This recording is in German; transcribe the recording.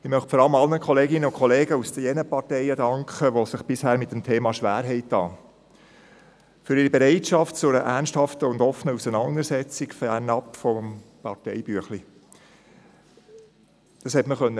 Ich möchte allen Kolleginnen und Kollegen für ihre Bereitschaft zu einer ernsthaften und offenen Auseinandersetzung fernab vom Parteibüchlein danken, die jenen Parteien angehören, die sich bisher mit diesem Thema schwergetan haben.